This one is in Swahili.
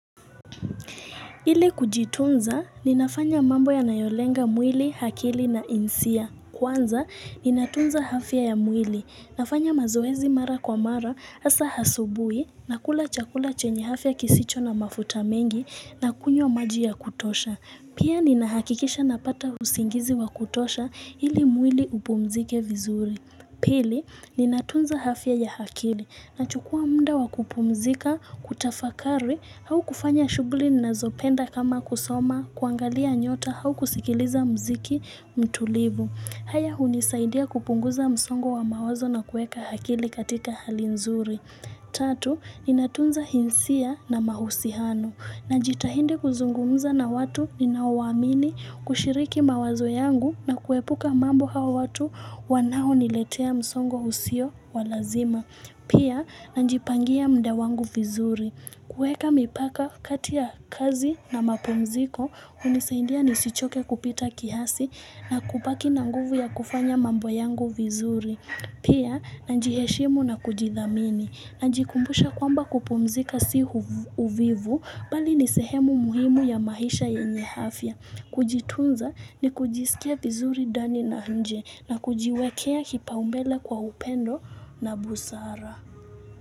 Ili kujitunza, ninafanya mambo yanayolenga mwili, akili na hisia. Kwanza, ninatunza afya ya mwili. Nafanya mazoezi mara kwa mara, hasa asubuhi, nakula chakula chenye afya kisicho na mafuta mengi, nakunywa maji ya kutosha. Pia ninahakikisha napata usingizi wa kutosha, ili mwili upumzike vizuri. Pili, ninatunza afya ya akili, nachukua muda wa kupumzika, kutafakari, au kufanya shughuli ninazopenda kama kusoma, kuangalia nyota, au kusikiliza muziki mtulivu. Haya hunisaidia kupunguza msongo wa mawazo na kuweka akili katika hali nzuri. Tatu, ninatunza hisia na mahusiano. Najitahidi kuzungumza na watu ninaowaamini kushiriki mawazo yangu na kuepuka mambo hao watu wanaoniletea msongo usio wa lazima. Pia, najipangia muda wangu vizuri. Kuweka mipaka kati ya kazi na mapumziko, hunisaindia nisichoke kupita kiasi na kubaki na nguvu ya kufanya mambo yangu vizuri. Pia, najiheshimu na kujithamini, najikumbusha kwamba kupumzika si uvivu, bali ni sehemu muhimu ya maisha yenye afya. Kujitunza ni kujisikia vizuri ndani na nje, na kujiwekea kipaumbele kwa upendo na busara.